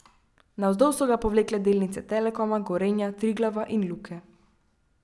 Navzdol so ga povlekle delnice Telekoma, Gorenja, Triglava in Luke.